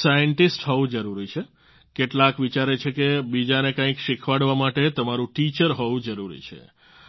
scientist હોવું જરૂરી છે કેટલાક વિચારે છે કે બીજાને કંઈક શિખવાડવા માટે તમારું ટીચર હોવું જરૂરી છે